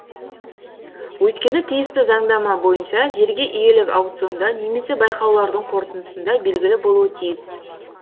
өйткені тиісті заңнама бойынша жерге иелік аукционда немесе байқаулардың қорытындысында белгілі болуы тиіс